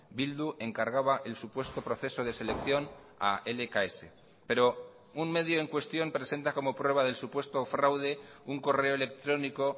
bildu encargaba el supuesto proceso de selección a lks pero un medio en cuestión presenta como prueba del supuesto fraude un correo electrónico